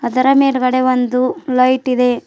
ಅದರ ಮೇಲ್ಗಡೆ ಒಂದು ಲೈಟ್ ಇದೆ.